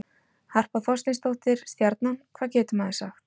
Harpa Þorsteinsdóttir- Stjarnan Hvað getur maður sagt?